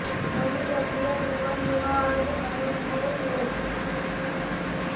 नोंदणी प्रक्रिया जीवन विमा अर्ज भरून ने सुरू होते